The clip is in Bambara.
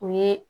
O ye